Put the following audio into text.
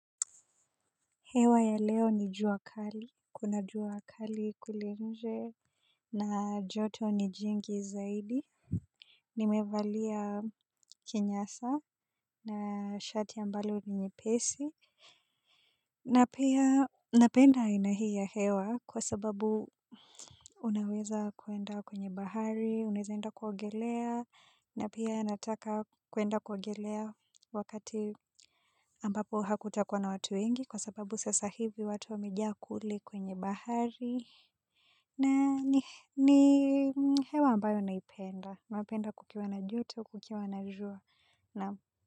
Hewa ya leo ni jua kali, kuna jua kali kule nje, na joto ni jingi zaidi, nimevalia kinyasa na shati ambalo ni nyepesi. Na pia napenda aina hii ya hewa kwa sababu unaweza kuenda kwenye bahari, unaeza enda kuogelea, na pia nataka kuenda kuogelea wakati ambapo hakutakuwa na watu wengi kwa sababu sasa hivi watu wamejaa kule kwenye bahari. Na ni hewa ambayo naipenda, napenda kukiwa na joto, kukiwa na jua.